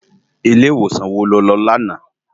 Ilé iwósan wó ló lò làná?